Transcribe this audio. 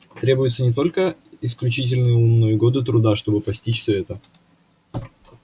требуется не только исключительный ум но и годы труда чтобы постичь все это